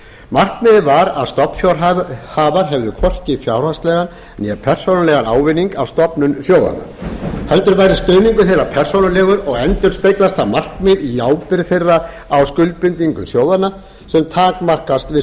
markmiðið var að stofnfjárhafar hefðu hvorki fjárhagslegan né persónulegan ávinning af stofnun sjóðanna heldur væri stuðningur þeirra persónulegur og endurspeglast það markmið í ábyrgð þeirra á skuldbindingum sjóðanna sem takmarkast við